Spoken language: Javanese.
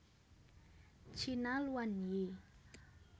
China luan yi